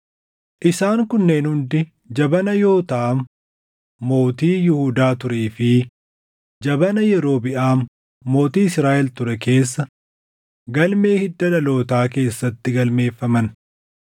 Isaan kunneen hundi jabana Yootaam mootii Yihuudaa turee fi jabana Yerobiʼaam mootii Israaʼel ture keessa galmee hidda dhalootaa keessatti galmeeffaman.